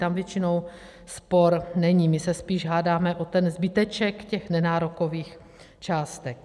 Tam většinou spor není, my se spíše hádáme o ten zbyteček těch nenárokových částek.